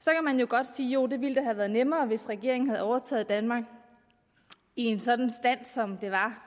så kan man jo godt sige jo det ville da have været nemmere hvis regeringen havde overtaget danmark i en sådan stand som det var